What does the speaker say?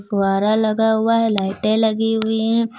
फुहारा लगा हुआ है लाइटें लगी हुई है।